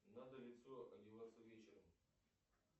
надо лицо одеваться вечером